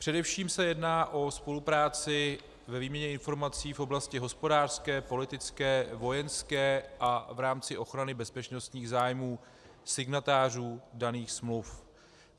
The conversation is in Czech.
Především se jedná o spolupráci ve výměně informací v oblasti hospodářské, politické, vojenské a v rámci ochrany bezpečnostních zájmů signatářů daných smluv.